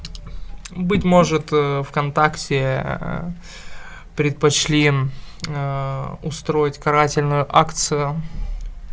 быть может в контакте предпочли устроить карательную акцию